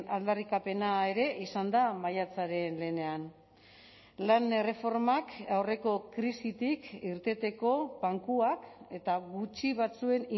aldarrikapena ere izan da maiatzaren lehenean lan erreformak aurreko krisitik irteteko bankuak eta gutxi batzuen